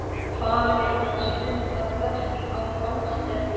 Farinn að stunda betl á gangstéttunum!